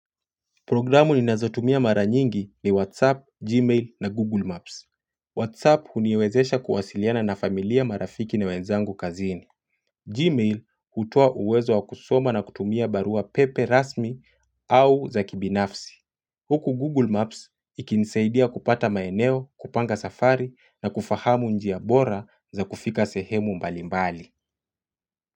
Programu ninazotumia mara nyingi ni WhatsApp, Gmail na Google Maps. WhatsApp huniwezesha kuwasiliana na familia, marafiki na wenzangu kazini. Gmail hutoa uwezo wa kusoma na kutumia barua pepe rasmi au za kibinafsi. Huku Google Maps ikinisaidia kupata maeneo, kupanga safari na kufahamu njia bora za kufika sehemu mbalimbali.